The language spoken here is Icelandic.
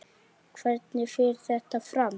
Hvernig fer þetta fram?